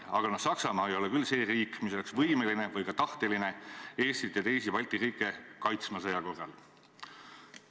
Aga no Saksamaa ei ole küll see riik, mis oleks võimeline või ka tahteline Eestit ja teisi Balti riike kaitsma sõja korral.